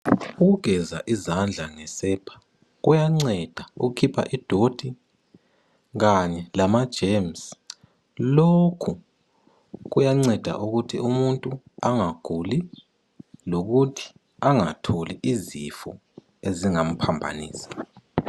Ukugeza izandla ngesepa kuyanceda ukukhipha ingcekeza kanye lamagcikwane. Lokhu kwenza umuntu angaguli njalo angatholi izifo ezingamgulisa.